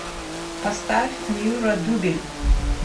поставь ньюро дубель